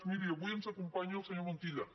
miri avui ens acompanya el senyor montilla